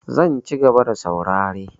Zan cigaba da saurare.